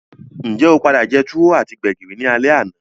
Njé o padà je tuwo ati gbẹ̀gìrì ni alé àná?